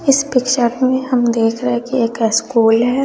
इस पिक्चर में हम देख रहे हैं कि एक स्कूल है।